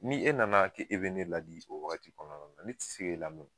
Ni e nana ke e be ne ladi o wagati kɔnɔna na ne ti se k'e lamɛ o.